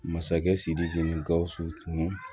Masakɛ sidiki ni gausu tun